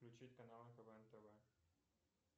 включить канал квн тв